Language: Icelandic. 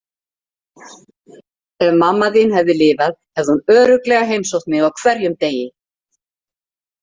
Ef mamma þín hefði lifað hefði hún örugglega heimsótt mig á hverjum degi.